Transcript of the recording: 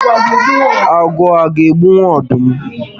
Agwọ aga egbunwu ọdụm?